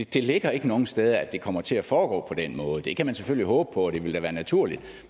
det ligger ikke nogen steder at det kommer til at foregå den måde det kan man selvfølgelig håbe på og det ville da være naturligt